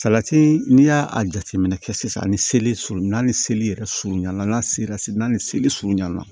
Salati n'i y'a jateminɛ kɛ sisan ani seli sulu n'a ni seli yɛrɛ surunyan na n'a sera seli n'a ni seli surunyan na